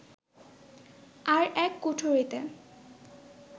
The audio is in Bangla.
আর এক কুঠরিতে